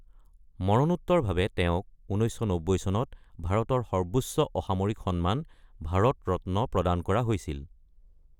মৰণোত্তৰভাৱে তেওঁক ১৯৯০ চনত ভাৰতৰ সৰ্বোচ্চ অসামৰিক সন্মান ভাৰত ৰত্ন প্ৰদান কৰা হৈছিল।